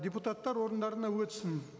депутаттар орындарына өтсін